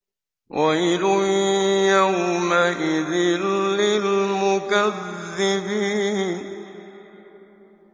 وَيْلٌ يَوْمَئِذٍ لِّلْمُكَذِّبِينَ